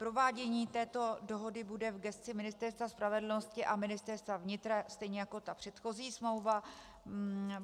Provádění této dohody bude v gesci Ministerstva spravedlnosti a Ministerstva vnitra stejně jako ta předchozí smlouva.